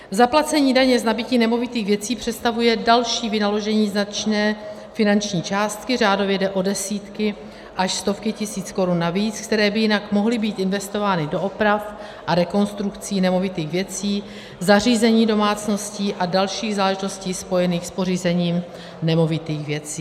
Zaplacení daně z nabytí nemovitých věcí představuje další vynaložení značné finanční částky, řádově jde o desítky až stovky tisíc korun navíc, které by jinak mohly být investovány do oprav a rekonstrukcí nemovitých věcí, zařízení domácností a dalších záležitostí spojených s pořízením nemovitých věcí.